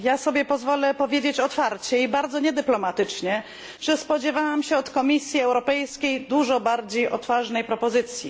Ja sobie pozwolę powiedzieć otwarcie i bardzo niedyplomatycznie, że spodziewałam się od Komisji Europejskiej dużo bardziej odważnej propozycji.